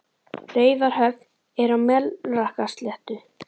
Raufarhöfn er á Melrakkasléttu.